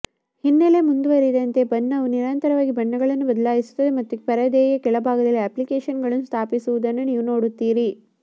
ಹಿನ್ನೆಲೆ ಮುಂದುವರೆದಂತೆ ಬಣ್ಣವು ನಿರಂತರವಾಗಿ ಬಣ್ಣಗಳನ್ನು ಬದಲಾಯಿಸುತ್ತದೆ ಮತ್ತು ಪರದೆಯ ಕೆಳಭಾಗದಲ್ಲಿ ಅಪ್ಲಿಕೇಶನ್ಗಳನ್ನು ಸ್ಥಾಪಿಸುವುದನ್ನು ನೀವು ನೋಡುತ್ತೀರಿ